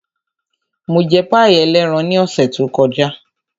Mo jẹ páì ẹlẹ́ran ní ọ̀sẹ̀ tó kọjá.